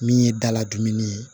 Min ye daladuguni ye